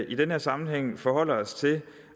i den her sammenhæng forholder os til